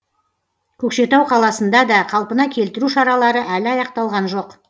көкшетау қаласында да қалпына келтіру шаралары әлі аяқталған жоқ